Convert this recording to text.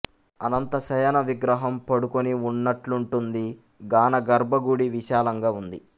అనంతశయన విగ్రహం పడుకొని ఉన్నట్లుంటుంది గాన గర్భ గుడి విశాలంగా ఉంది